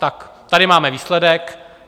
Tak tady máme výsledek.